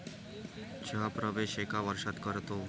चा प्रवेश एका वर्षात करतो